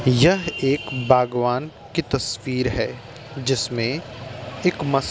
यह एक बागवान की तस्वीर है। जिसमे एक मश --